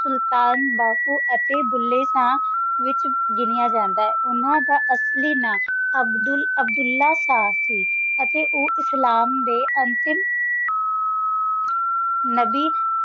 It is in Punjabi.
ਸੁਲਤਾਨ ਬਹੁ ਤੇ ਬੁੱਲੇ ਸ਼ਾਹ ਵਿਚ ਗਿਣਿਆ ਜਾਂਦਾ ਆਏ ਉੰਨਾਂ ਦਾ ਅਸਲੀ ਨਾਂ ਅਬਦੁਲ~ ਅਬ੍ਦੁਲ੍ਲਾਹ ਸੀ ਤੇ ਓ ਇਸਲਾਮ ਡੇ ਆਖਰੀ ਨਬੀ